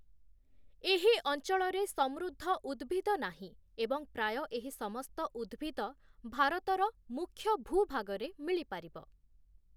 ଏହି ଅଞ୍ଚଳରେ ସମୃଦ୍ଧ ଉଦ୍ଭିଦ ନାହିଁ ଏବଂ ପ୍ରାୟ ଏହି ସମସ୍ତ ଉଦ୍ଭିଦ ଭାରତର ମୁଖ୍ୟ ଭୂଭାଗରେ ମିଳିପାରିବ ।